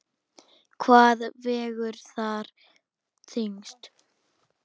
Hvað vegur þar þyngst?